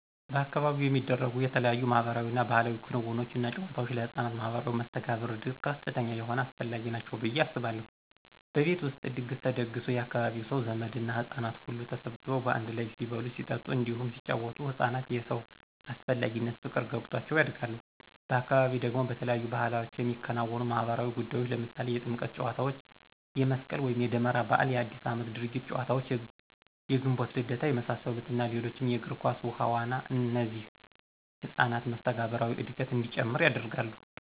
በአካባቢው የሚደረጉ የተለያዩ ማህበራዊ እና ባህላዊ ክንውኖች እና ጫወታወች ለህፃናት ማህበራዊ መስተጋብር እድገት ከፍተኛ የሆነ አስፈላጊ ናቸው ብየ አስባለሁ። በቤት ውስጥ ድግስ ተደግሶ የአካባቢው ሰው፣ ዘመድ እና ህጻናት ሁሉ ተሰባስበው በአንድ ላይ ሲበሉ ሲጠጡ እንዲሁም ሲጪወቱ ህፃናት የሰው አስፈላጊነት ፍቅር ገብቷቸው ያድጋሉ፤ በአካባቢ ደግሞ በተለያዩ ባዕላቶች የሚከወኑ ማህበራዊ ጉዳዮች ለምሳሌ የጥምቀት ጫዎታ፣ የመስቅል ወይም የደመራ በዓል፣ የአዲስ አመት የድርጊት ጨዋታዎች፣ የግንቦት ልደታ የመሳሰሉት እና ሌሎችም የግር ኳስ፣ ውሀ ዋና እነዚህ የህፃናትን መስተጋብራዊ እድገት እንዲጨምር ያደርጋሉ።